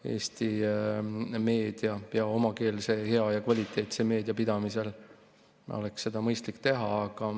Eesti meedia, omakeelse, hea ja kvaliteetse meedia pidamisel oleks seda mõistlik teha.